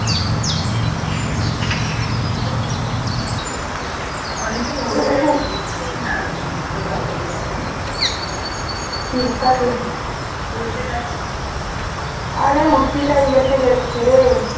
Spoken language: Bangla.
আরে উর্ফিটা ইয়েতে গেছে রে